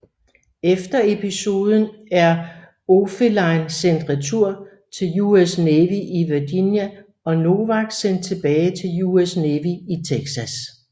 Efter episoden er Oefelein sendt retur til US Navy i Virginia og Nowak sendt tilbage til US Navy i Texas